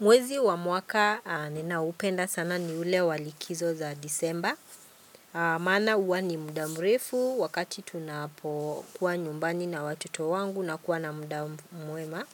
Mwezi wa mwaka ninao upenda sana ni ule walikizo za disemba. Maana huwa ni muda mrefu wakati tunapokuwa nyumbani na watoto wangu na kuwa na muda mwema.